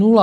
Nula.